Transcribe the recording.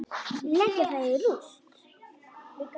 Leggja það í rúst!